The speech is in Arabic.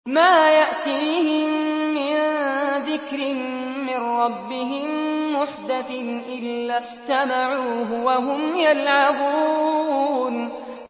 مَا يَأْتِيهِم مِّن ذِكْرٍ مِّن رَّبِّهِم مُّحْدَثٍ إِلَّا اسْتَمَعُوهُ وَهُمْ يَلْعَبُونَ